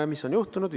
Ja mis on juhtunud?